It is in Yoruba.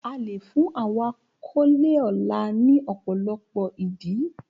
A lè fún àwọn àkọlé ọlá ní ọ̀pọ̀lọpọ̀ ìdí.